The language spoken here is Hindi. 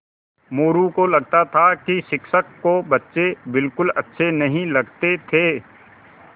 मोरू को लगता था कि शिक्षक को बच्चे बिलकुल अच्छे नहीं लगते थे